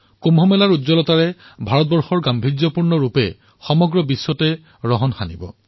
কুম্ভৰ দিব্যতাৰ দ্বাৰা ভাৰতৰ ভব্যতাই সমগ্ৰ বিশ্বকে আলোকিত কৰিব